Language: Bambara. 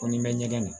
Ko ni n bɛ ɲɛgɛn na